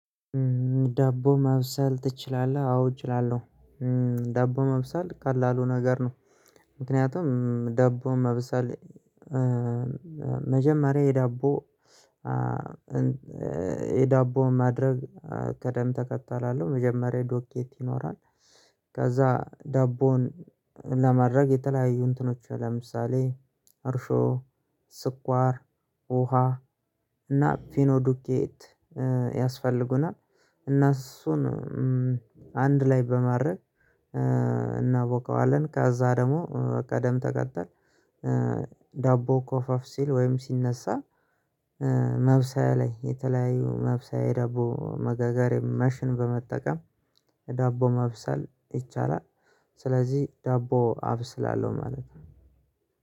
ዳቦ መብሰል ትችላለህ? አዎ እችላለሁ። ዳቦ መብሰል ቀላሉ ነገር ነው። ምክንያቱም ደቦ መብሰል መጀመሪያ የደቦ የዳቦን ማድረግ ቅደም ተከተል አለሁ መጀመሪያ ዱቄት ይኖራል። ዳቦን ለማድረግ የተለያዩ እንትኖች ለምሳሌ እርሾ ስኳር ውሃ እና ፒኖዱኬት ያስፈልጉናል። እና እሱን አንድ ላይ በማድረግ እናቦከዋለን። ከዛ ደግሞ በቅደም ተከተል ዳቦ ኮፍ ኮፍ ሲል ወይም ሲነሳ። መብሰያ ላይ የተለያዩ መብሰያ የዳቦ መጋጋርያ መሽን በመጠቀም ዳቦ መብሰል ይቻላል። ስለዚህ ዳቦ አብስላለሁ ማለት ነው።